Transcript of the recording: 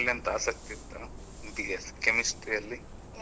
ಅದ್ರಲ್ಲಿ ಎಂತ ಆಸಕ್ತಿ ಇತ್ತಾ B.Sc chemistry ಅಲ್ಲಿ?